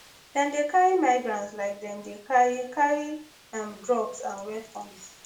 dem dey carry migrants like dem dey carry carry um drugs and weapons